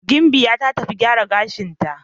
Gimbiya ta tafi gyaran gashinta.